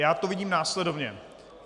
Já to vidím následovně.